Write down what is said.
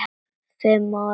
Fimm ár?